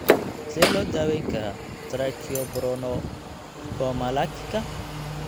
Sidee loo daweyn karaa tracheobronchomalacika